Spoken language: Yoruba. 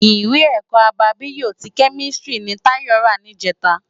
Iwé èkò ábábiyó ti kèmistiri ni Tayo rá nijètá